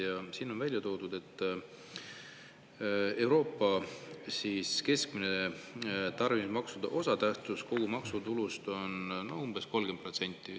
Ja siin on välja toodud, et Euroopa keskmine tarbimismaksude osatähtsus kogu maksutulus on umbes 30%.